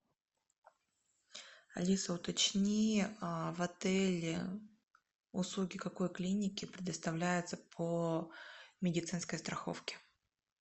алиса уточни в отеле услуги какой клиники предоставляются по медицинской страховке